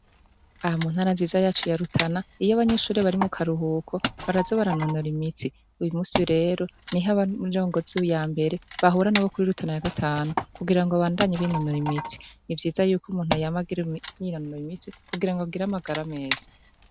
Aha mu ntara nziza yacu ya Rutana iyo abanyeshure bari mu karuhuko baraza baranonora imitsi. Uyu munsi rero niho abanyabirongozi ya mbere bahura nabo kuri Rutana ya gatanu kugirango babandanye binonora imitsi. Ni vyiza ko umuntu yama yinonora imitsi kugirango agire amagara meza.